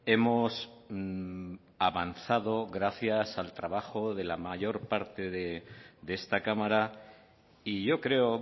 hemos avanzado gracias al trabajo de la mayor parte de esta cámara y yo creo